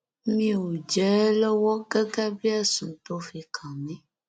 mi ò jẹ ẹ lọwọ gẹgẹ bíi ẹsùn tó fi kàn mí